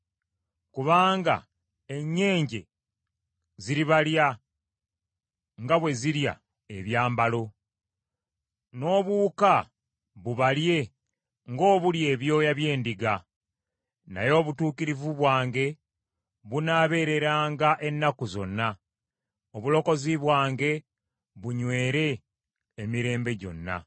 Kubanga ennyenje ziribalya nga bwe zirya ebyambalo. N’obuwuka bubalye ng’obulya ebyoya by’endiga. Naye obutuukirivu bwange bunaabeereranga ennaku zonna. Obulokozi bwange bunywere emirembe gyonna.”